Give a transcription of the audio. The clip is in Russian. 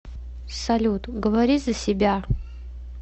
салют говори за себя